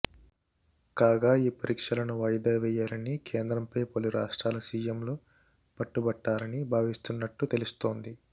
కాగా ఈ పరీక్షలను వాయిదా వేయాలని కేంద్రంపై పలు రాష్ట్రాల సిఎంలు పట్టుబట్టాలని భావిస్తున్నట్టు తెలుస్తోంది